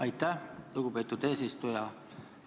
Aitäh, lugupeetud eesistuja!